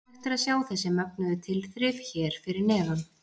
Hægt er að sjá þessi mögnuðu tilþrif hér fyrir neðan.